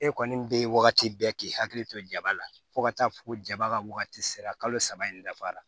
E kɔni bɛ wagati bɛɛ k'i hakili to jaba la fo ka taa fɔ ko jaba ka wagati sera kalo saba in dafara